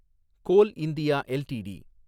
goal India LTD